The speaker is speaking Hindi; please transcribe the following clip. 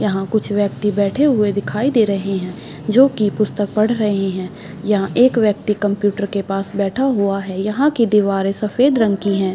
यहाँ कुछ व्यक्ति बैठे हुए दिखाई दे रहे है जो की पुस्तक पढ़ रहे है यहाँ एक व्यक्ति कंप्यूटर के पास बैठा हुआ है यहाँ की दीवारे सफेद रंग की है।